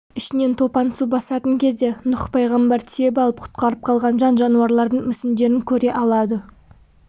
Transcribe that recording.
ішінен топан су басатын кезде нұх пайғамбар тиеп алып құтқарып қалған жан-жануарлардың мүсіндерін көре алады